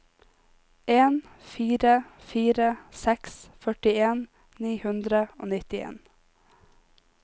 en fire fire seks førtien ni hundre og nittien